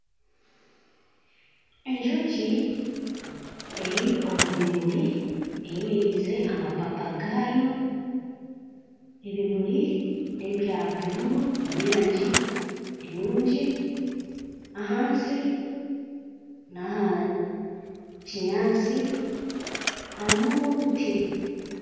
Enjoki eri omu bimuri eyemereize amapapa gaayo ebimuri nebya bururu n'erangi enungi ahansi naha kinyaansi harimu n'obuti.